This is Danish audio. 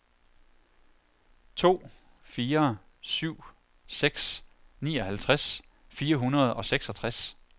to fire syv seks nioghalvtreds fire hundrede og seksogtres